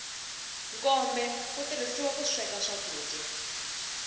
nkombe wu tirhisiwa ku sweka swakudya